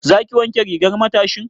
Za ki wanke rigar matashin?